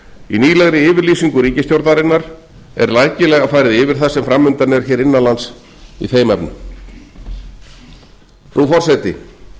í nýlegri yfirlýsingu ríkisstjórnarinnar er rækilega farið yfir það sem fram undan er hér innan lands í þeim efnum frú forseti